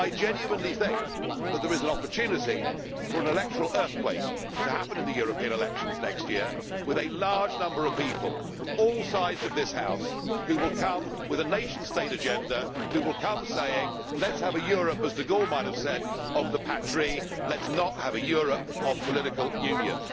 I genuinely think that there is an opportunity for an electoral earthquake to happen in the European elections next year, with a large number of people from all sides of this House who will come with a nation state agenda, who will come saying Let us have a Europe, as de Gaulle might have said, of the patries let us not have a Europe of political union'.